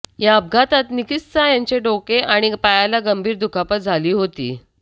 या अपघातात निस्किता यांच्या डोके आणि पायाला गंभीर दुखापत झाली होती